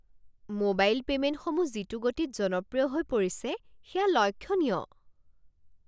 Mobile পে'মেণ্টসমূহ যিটো গতিত জনপ্ৰিয় হৈ পৰিছে সেয়া লক্ষণীয়।